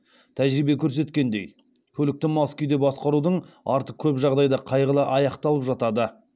тәжірибе көрсеткендей көлікті мас күйде басқарудың арты көп жағдайда қайғылы аяқталып жатады